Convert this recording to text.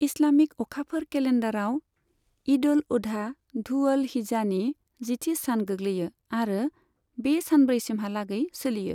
Islamic अखाफोर केलेन्डारआव, ईद अल अधा धु अल हिज्जानि जिथि सान गोग्लैयो आरो बे सानब्रैसिमहालागै सोलियो।